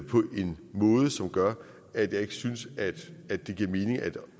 på en måde som gør at jeg ikke synes at at det giver mening at